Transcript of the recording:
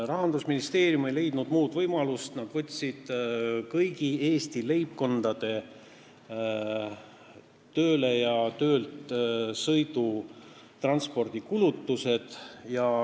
Rahandusministeerium ei leidnud muud võimalust ning nad võtsid kõigi Eesti leibkondade tööle ja töölt sõidu transpordikulutused.